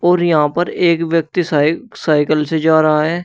और यहां पर एक व्यक्ति सायकल से जा रहा है।